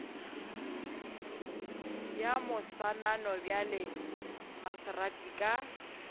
ya moswanano bjale maserati ka